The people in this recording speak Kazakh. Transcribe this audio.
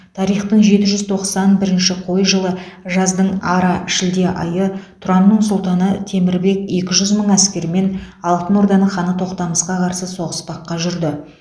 тарихтың жеті жүз тоқсан бірінші қой жылы жаздың ара шілде айы тұранның сұлтаны темір бек екі жүз мың әскермен алтын орданың ханы тоқтамысқа қарсы соғыспаққа жүрді